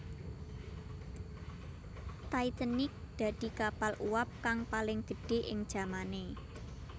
Titanic dadi kapal uwab kang paling gedhé ing jamané